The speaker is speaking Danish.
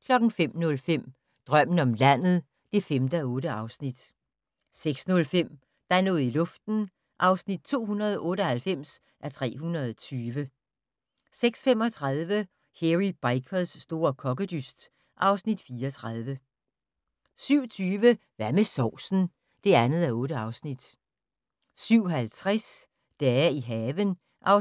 05:05: Drømmen om landet (5:8) 06:05: Der er noget i luften (298:320) 06:35: Hairy Bikers' store kokkedyst (Afs. 34) 07:20: Hvad med sovsen? (2:8) 07:50: Dage i haven (7:12)